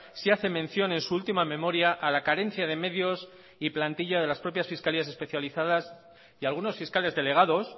sí hace mención en su última memoria a la carencia de medios y plantilla de las propias fiscalías especializadas y algunos fiscales delegados